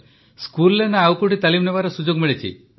ସ୍କୁଲରେ ନା ତାଲିମ ନେବାର ସୁଯୋଗ ମିଳିଛି